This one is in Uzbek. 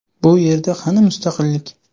Bu yerda qani mustaqillik?